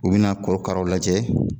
U bi na korokaraw lajɛ